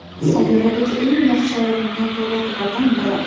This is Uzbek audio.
Sayyoradagi eng yaxshi nevrologlardan biri.